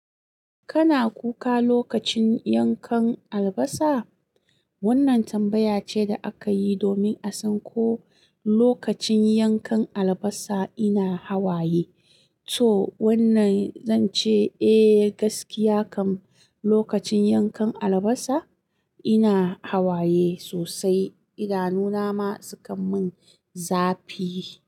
Kana kuka lokacin yankan albasa? Wannan tambaya ce da aka yi domin a san ko lokacin yankan albasa ina hawaye. To wannan zan ce eh gaskiya kam lokacin yankan albasa ina hawaye sosai. Idanu na ma sukan min zafi.